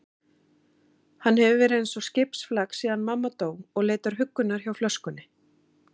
Hann hefur verið eins og skipsflak síðan mamma dó og leitar huggunar hjá flöskunni.